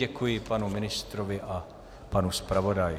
Děkuji panu ministrovi a panu zpravodaji.